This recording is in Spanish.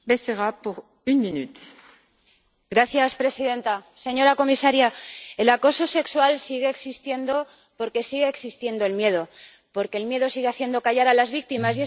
Señora presidenta, señora comisaria, el acoso sexual sigue existiendo porque sigue existiendo el miedo, porque el miedo sigue haciendo callar a las víctimas.